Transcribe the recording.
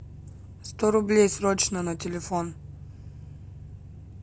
сто рублей срочно на телефон